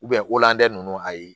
o llande ninnu ayi